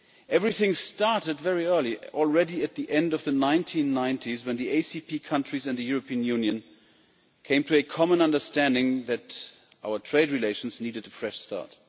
Everything started very early, already at the end of the 1990s when the ACP countries and the European Union came to a common understanding that our trade relations needed a fresh start.